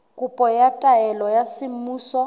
kopo ya taelo ya semmuso